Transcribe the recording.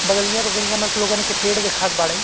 बगलिया-बगलिया मप् लोगन के पेड़ देखात बाड़ै।